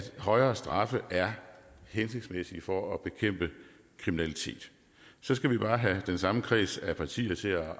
højere straffe er hensigtsmæssige for at bekæmpe kriminalitet så skal vi bare have den samme kreds af partier til at